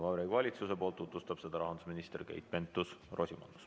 Vabariigi Valitsuse nimel tutvustab seda rahandusminister Keit Pentus-Rosimannus.